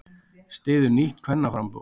Styður nýtt kvennaframboð